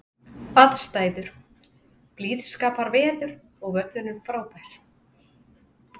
Aðstæður: Blíðskaparveður og völlurinn frábær.